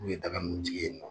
N'u ye daga nunnu jigi ye nɔ.